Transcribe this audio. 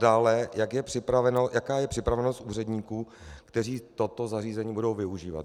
Dále, jaká je připravenost úředníků, kteří toto zařízení budou využívat.